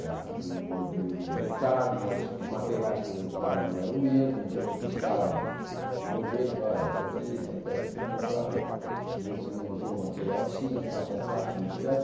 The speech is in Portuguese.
da de um modelo importado, mas os materiais que ele usava não eram os mesmos, então eu testava o modelo e falava, esse aqui essa peça aqui ficou fraca, possivelmente você não usou o material assim, faça assado, et cétera.